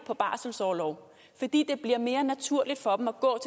på barselsorlov fordi det bliver mere naturligt for dem at gå